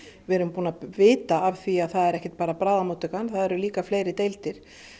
við erum búin að vita að því að það er ekki bara bráðamóttakan það eru líka fleiri deildir